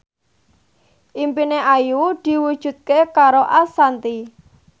impine Ayu diwujudke karo Ashanti